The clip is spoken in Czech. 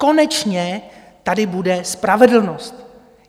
Konečně tady bude spravedlnost.